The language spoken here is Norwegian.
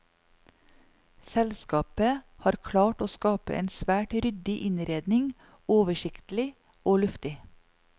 Selskapet har klart å skape en svært ryddig innredning, oversiktlig og luftig.